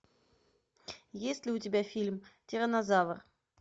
есть ли у тебя фильм тиранозавр